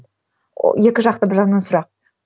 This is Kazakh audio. екі жақты бір жағынан сұрақ